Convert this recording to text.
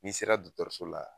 N'i sera dɔtɔrɔso la